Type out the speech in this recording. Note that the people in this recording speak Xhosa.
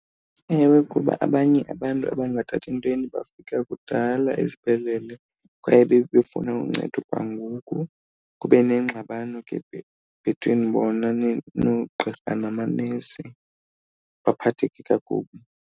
Ewe, kuba abanye abantu abangathathi ntweni bafika kudala esibhedlele kwaye babe befuna uncedo kwangoku kube neengxabano ke between bona noogqirha namanesi, baphatheke kakubi.